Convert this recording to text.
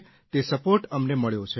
તે સપોર્ટ અમને મળ્યો છે